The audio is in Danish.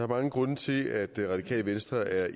mange grunde til at radikale venstre er